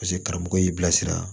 Paseke karamɔgɔ y'i bilasira